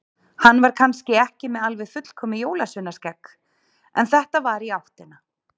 Hann var kannski ekki með alveg fullkomið jólsveinaskegg, en þetta var í áttina.